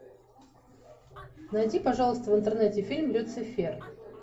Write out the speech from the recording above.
найди пожалуйста в интернете фильм люцифер